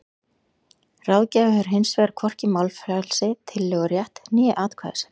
Ráðgjafi hefur hins vegar hvorki málfrelsi, tillögurétt né atkvæðisrétt.